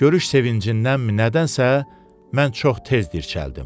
Görüş sevincindənmi, nədənsə mən çox tez dirçəldim.